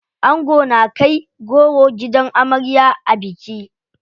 Ango na kai goro gidan amarya a biki.